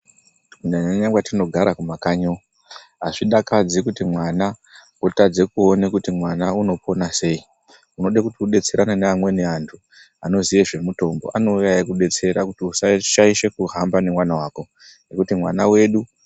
Nyanyanya kwatinogara kumakanyi uku azvidakadzi kuti mwana otadza kuona kuti mwana unopona seii, unoda kuti ubetserana nevamweni antu, anoziva zvemutombo anouya chikubestera kuti usashaishe kuhamba nemwana wako nekuti mwana wedu .